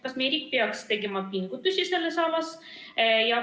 Kas meie riik peaks tegema pingutusi selles asjas?